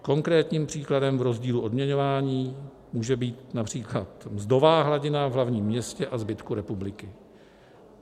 Konkrétním příkladem v rozdílu odměňování může být například mzdová hladina v hlavním městě a zbytku republiky.